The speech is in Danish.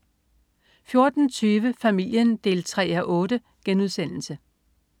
14.20 Familien 3:8*